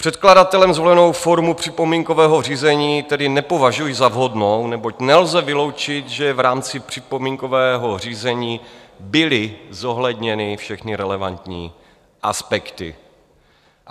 Předkladatelem zvolenou formu připomínkového řízení tedy nepovažuji za vhodnou, neboť nelze vyloučit, že v rámci připomínkového řízení byly zohledněny všechny relevantní aspekty.